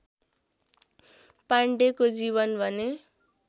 पाण्डेको जीवन भने